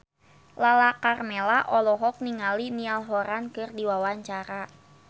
Lala Karmela olohok ningali Niall Horran keur diwawancara